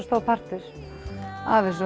stór partur af þessu